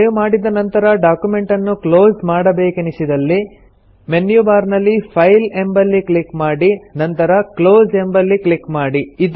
save ಮಾಡಿದ ನಂತರ ಡಾಕ್ಯುಮೆಂಟನ್ನು ಕ್ಲೊಸ್ ಮಾಡಬೇಕೆನಿಸಿದಲ್ಲಿ ಮೆನ್ಯು ಬಾರ್ ನಲ್ಲಿ ಫೈಲ್ ಎಂಬಲ್ಲಿ ಕ್ಲಿಕ್ ಮಾಡಿ ನಂತರ ಕ್ಲೋಸ್ ಎಂಬಲ್ಲಿ ಕ್ಲಿಕ್ ಮಾಡಿ